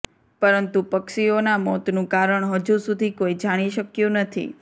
પરંતુ પક્ષીઓના મોતનું કારણ હજુ સુધી કોઇ જાણી શક્યું નથી